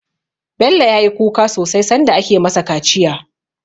Bello ya yi kuka sosai sanda ake ma sa kaciya